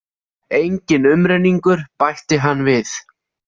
Enginn umrenningur, bætti hann við.